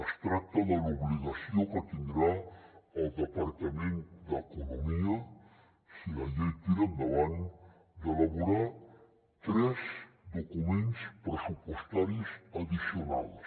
es tracta de l’obligació que tindrà el departament d’economia si la llei tira endavant d’elaborar tres documents pressupostaris addicionals